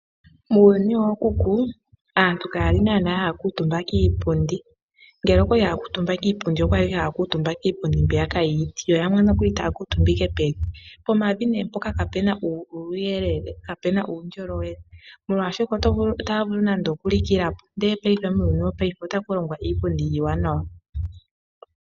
Muuyuni wookuku aantu kaya li naanaa ha ya kuutumba kiipundi, ngele okwa li ha ya kuutumba kiipundi okwa li ha ya kuutumba kiipundi mbiyaka yiiti yo yamwe nokuli ta ya kuutumba pevi. Pomavi nee mpoka ka pu na uuyelele, ka pu na uundjolowele molwashoka ota ya vulu nande oku likila po ndele paife muuyuni wopaife otaku longwa iipundi iiwanawa.